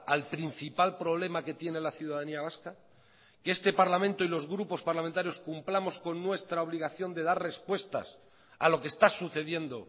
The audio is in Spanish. al principal problema que tiene la ciudadanía vasca que este parlamento y los grupos parlamentarios cumplamos con nuestra obligación de dar respuestas a lo que está sucediendo